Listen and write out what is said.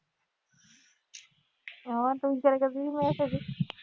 ਹਾਂ ਤੂੰ ਕਿਹਾ ਕਰਦੀ ਸੀ ਮੇਰਾ